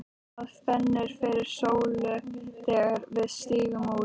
Það fennir fyrir sólu þegar við stígum út.